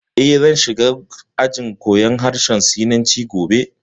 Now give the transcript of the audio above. Eh, zan shiga ajin koyan harshen Sinanci gobe